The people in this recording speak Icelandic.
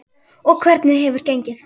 Og hvernig hefur gengið?